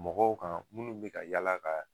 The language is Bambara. Mɔgɔw kan minnu bɛ ka yala ka